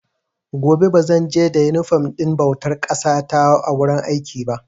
Gobe ba zan je da inifom ɗin bautar ƙasa ta wurin aiki ba.